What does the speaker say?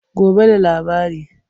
Gobe da labari.